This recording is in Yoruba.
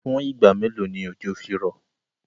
Fún ìgba mẹ́lò ni ọjọ́ fí rọ̀?